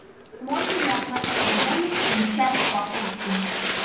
можно ли оплачивать бонусами часть покупки